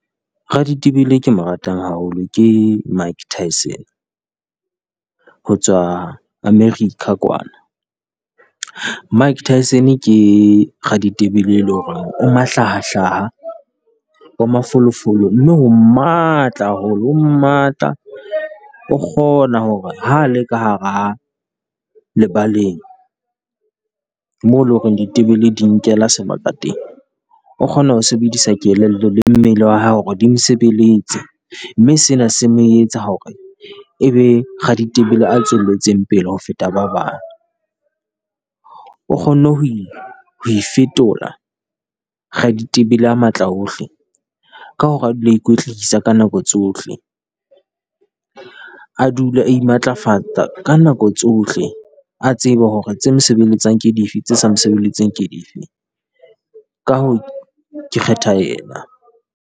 Raditebele ke mo ratang haholo ke Mike Tyson ho tswa America kwana, Mike Tyson ke raditebele e le hore mahlahahlaha, o mafolofolo. Mme o matla haholo o matla, o kgona hore ha le ka hara lebaleng, mo leng hore ditebele di nkela sebaka teng. O kgona ho sebedisa kelello le mmele wa hae hore di mo sebeletse, mme sena se mo etsa hore e be raditebele a tswelletseng pele ho feta ba bang. O kgonne ho e ho ifetola raditebele a matla wohle ka hore a dule a ikwetlisa ka nako tsohle, a dule a imatlafatsa ka nako tsohle. A tsebe hore tse mo sebeletsang ke dife, tse sa mo sebeletseng ke dife. Ka hoo ke kgetha ena.